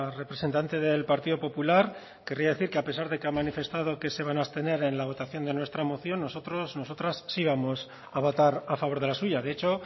representante del partido popular querría decir que a pesar de que ha manifestado que se van a abstener en la votación de nuestra moción nosotros nosotras sí vamos a votar a favor de la suya de hecho